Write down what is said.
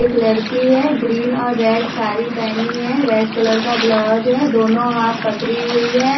एक लड़की है ग्रीन और रेड साड़ी पहनी है रेड कलर का ब्लाउज है दोनों हाथ पकड़ी हुई है।